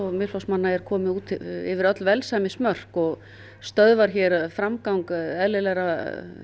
Miðflokksmanna er komið út yfir öll velsæmismörk og stöðvar hér framgang eðlilegrar